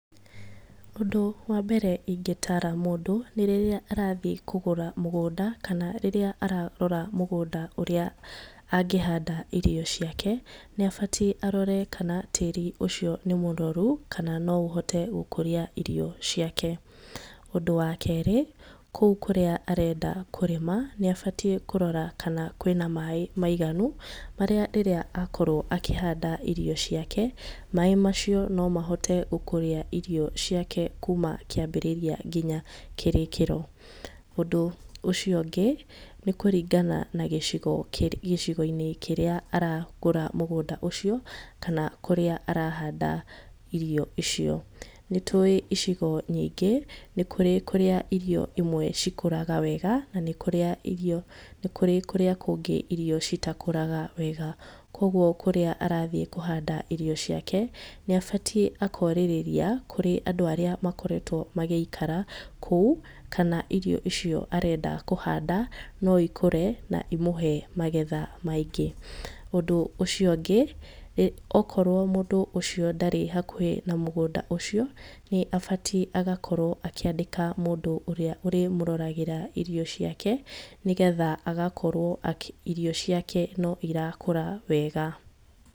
Ũndũ wa mbere ũrĩa ingĩtara mũndũ nĩ rĩrĩa arathiĩ kũgũra mũgũnda kana rĩrĩa ararora mũgũnda ũrĩa angĩhanda irio ciake, nĩ abatiĩ arore kana tĩri ũcio nĩ mũnoru, kana no ũhote gũkũria irio ciake. Ũndũ wa kerĩ, kou kũrĩa arenda kũrĩma nĩ abatiĩ kũrora kana kwĩna maĩ maiganu marĩa rĩrĩa akorwo akĩhanda irio ciake, maĩ macio no mahote gũkũria irio ciake kuma kĩambĩriria ngĩnya kĩrĩkĩro. Ũndũ ũcio ũngĩ nĩ kũringana na gĩcigo-inĩ kĩrĩa aragũra mũgũnda ũcio kana kũrĩa arahanda irio icio. Nĩ tũĩ icigo nyingĩ, nĩ kũrĩ kũrĩa irio imwe cikũraga wega na nĩ kũrĩ kũrĩa kũngĩ irio citakũraga wega, kũguo kũrĩa arathiĩ kũhanda irio ciake, nĩ abatiĩ akorĩrĩria kũrĩ andũ arĩa makoretwo magĩikara kou, kana irio icio arenda kũhanda, no ikũre na imũhe magetha maingĩ. Ũndũ ũcio ũngĩ okorwo mũndũ ũcio ndarĩ hakuhĩ na mũgũnda ũcio, nĩ abatiĩ agakorwo akĩandĩka mũndũ ũrĩa ũrĩmũroragĩra irio ciake, nĩgetha agakorwo atĩ irio ciake no irakũra wega.